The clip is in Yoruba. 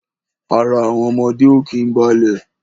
Ara àwọn ọmọdé ó kín balẹ̀